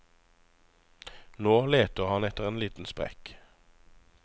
Nå leter han etter en liten sprekk.